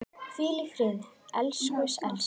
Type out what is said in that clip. Hvíl í friði, elsku Elsa.